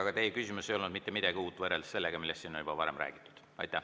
Aga teie küsimus ei olnud mitte midagi uut võrreldes sellega, millest siin on juba varem räägitud.